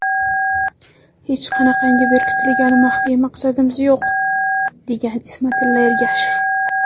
Hech qanaqangi berkitilgan maxfiy maqsadimiz yo‘q”, degan Ismatilla Ergashev.